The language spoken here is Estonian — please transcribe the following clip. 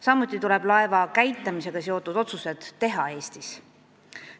Samuti tuleb laeva käitamisega seotud otsused teha Eestis.